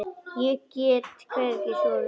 Ég get hvergi sofið.